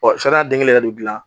Ɔ sariya den kelen de bɛ dilan